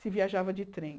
Se viajava de trem.